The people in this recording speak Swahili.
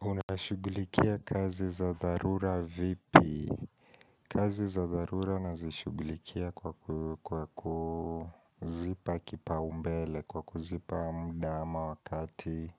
Unashughulikia kazi za dharura vipi. Kazi za dharura nazishughulikia kwa kuzipa kipaumbele kwa kuzipa muda ama wakati